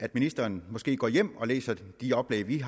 at ministeren går hjem og læser de oplæg vi